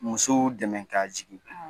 Musow dɛmɛ ka jigin, awɔ